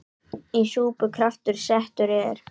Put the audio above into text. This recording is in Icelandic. Í súpu kraftur settur er.